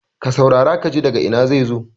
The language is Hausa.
ka saurara ka ji daga Ina zai zo?